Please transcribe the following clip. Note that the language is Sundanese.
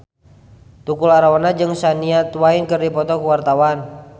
Tukul Arwana jeung Shania Twain keur dipoto ku wartawan